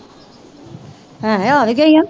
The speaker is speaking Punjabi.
ਭੈਣੇ ਆ ਵੀ ਗਈਆਂ